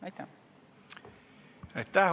Aitäh!